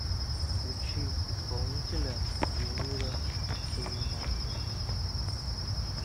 включи исполнителя эльмира сулейманова